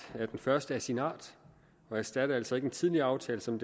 er den første af sin art og erstatter altså ikke en tidligere aftale som